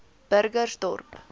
burgersdorp